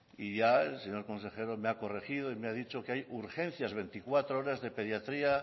y ya el señor consejero me ha corregido y me ha dicho que hay urgencias veinticuatro horas de pediatría